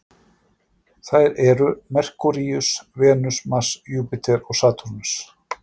Þær eru Merkúríus, Venus, Mars, Júpíter og Satúrnus.